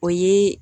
O ye